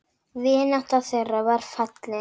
Vinátta þeirra var falleg.